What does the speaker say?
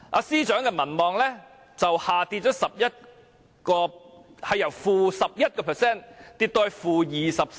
司長的民望由 -11% 下跌至 -24%。